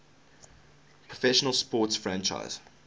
professional sports franchise